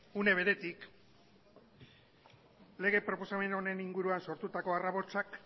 une beretik lege proposamen honen inguruan sortutako harrabotsak